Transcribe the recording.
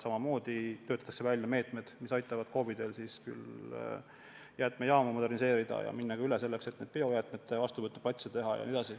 Samamoodi töötatakse välja meetmed, mis aitavad KOV-idel jäätmejaamu moderniseerida ja minna ka üle sellele, et biojäätmete jaoks vastuvõtuplatse teha.